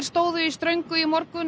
stóðu í ströngu í morgun